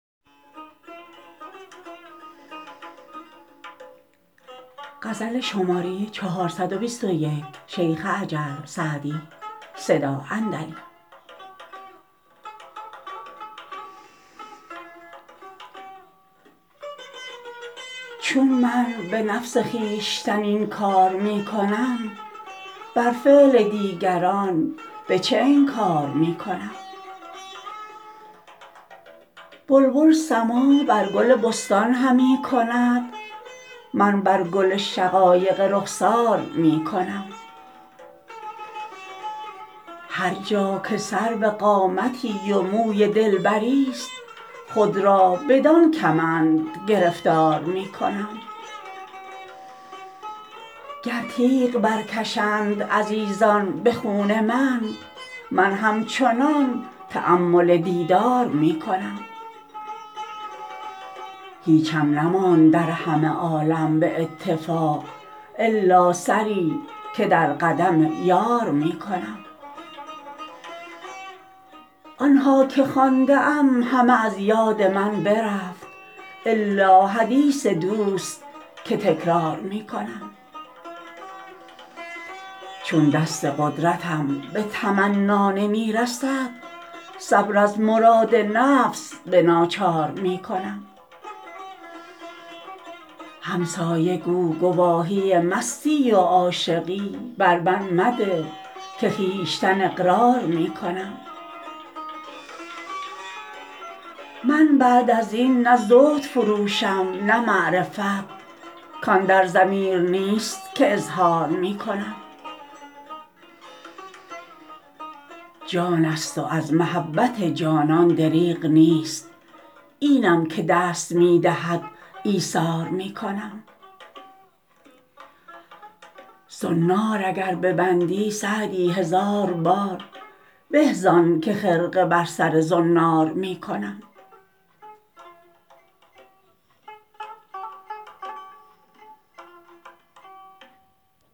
چون من به نفس خویشتن این کار می کنم بر فعل دیگران به چه انکار می کنم بلبل سماع بر گل بستان همی کند من بر گل شقایق رخسار می کنم هر جا که سرو قامتی و موی دلبریست خود را بدان کمند گرفتار می کنم گر تیغ برکشند عزیزان به خون من من همچنان تأمل دیدار می کنم هیچم نماند در همه عالم به اتفاق الا سری که در قدم یار می کنم آن ها که خوانده ام همه از یاد من برفت الا حدیث دوست که تکرار می کنم چون دست قدرتم به تمنا نمی رسد صبر از مراد نفس به ناچار می کنم همسایه گو گواهی مستی و عاشقی بر من مده که خویشتن اقرار می کنم من بعد از این نه زهد فروشم نه معرفت کان در ضمیر نیست که اظهار می کنم جان است و از محبت جانان دریغ نیست اینم که دست می دهد ایثار می کنم زنار اگر ببندی سعدی هزار بار به زان که خرقه بر سر زنار می کنم